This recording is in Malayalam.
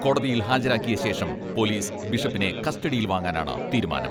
കോടതിയിൽ ഹാജരാക്കിയശേഷം പോലീസ് ബിഷപ്പിനെ കസ്റ്റഡിയിൽ വാങ്ങാനാണ് തീരുമാനം.